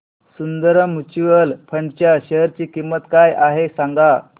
Sundaram mutual fund च्या share ची किंमत काय आहे सांगा